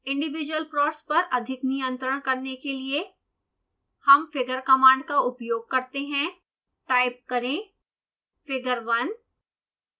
individual plots पर अधिक नियंत्रण करने के लिए हम figure कमांड का उपयोग करते हैं टाइप करें figure1